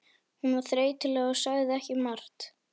Hún var þreytuleg og sagði ekki margt.